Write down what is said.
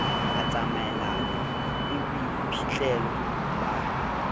a tsamaelana le boiphihlelo ba